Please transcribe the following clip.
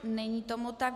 Není tomu tak.